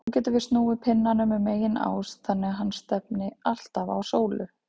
Nú getum við snúið pinnanum um eigin ás þannig að hann stefni alltaf á sólu.